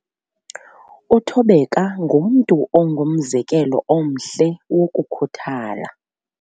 Uthobeka ngumntu ongumzekelo omhle wokukhuthala.